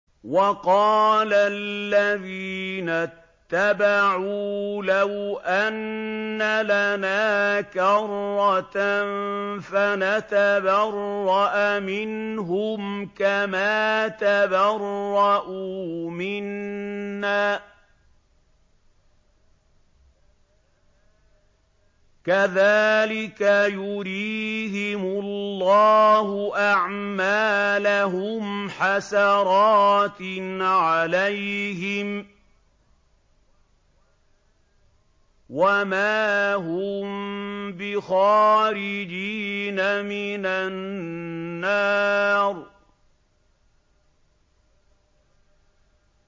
وَقَالَ الَّذِينَ اتَّبَعُوا لَوْ أَنَّ لَنَا كَرَّةً فَنَتَبَرَّأَ مِنْهُمْ كَمَا تَبَرَّءُوا مِنَّا ۗ كَذَٰلِكَ يُرِيهِمُ اللَّهُ أَعْمَالَهُمْ حَسَرَاتٍ عَلَيْهِمْ ۖ وَمَا هُم بِخَارِجِينَ مِنَ النَّارِ